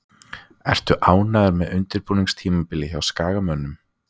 Ertu ánægður með undirbúningstímabilið hjá Skagamönnum?